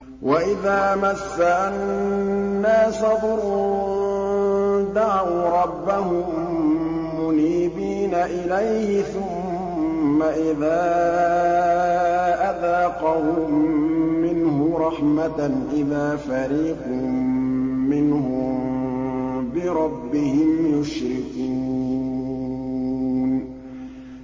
وَإِذَا مَسَّ النَّاسَ ضُرٌّ دَعَوْا رَبَّهُم مُّنِيبِينَ إِلَيْهِ ثُمَّ إِذَا أَذَاقَهُم مِّنْهُ رَحْمَةً إِذَا فَرِيقٌ مِّنْهُم بِرَبِّهِمْ يُشْرِكُونَ